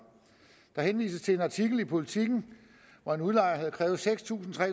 der henvises til en artikel i politiken hvor en udlejer havde krævet seks tusind tre